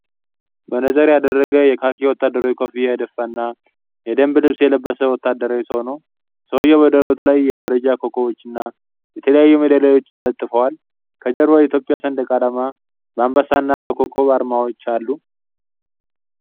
መነጽር ያደረገ፣ የካኪ ወታደራዊ ኮፍያ የደፋና የደንብ ልብስ የለበሰ ወታደራዊ ሰው። ሰውዬው በደረቱ ላይ የደረጃ ኮከቦችና የተለያዩ ሜዳሊያዎች ተለጥፈዋል። ከጀርባው የኢትዮጵያ ሰንደቅ ዓላማ በአንበሳና በኮከብ አርማዎች አሉ።